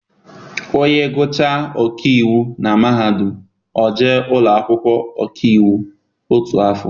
Onye gụchaa ọkaiwu na mahadum, o jee ụlọakwụkwọ ọkaiwu otu afọ.